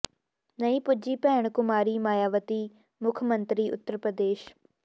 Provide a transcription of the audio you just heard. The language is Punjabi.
ਨਹੀਂ ਪੁੱਜੀ ਭੈਣ ਕੁਮਾਰੀ ਮਾਇਆਵਤੀ ਮੁੱਖ ਮੰਤਰੀ ਉੱਤਰ ਪ੍ਰਦੇਸ਼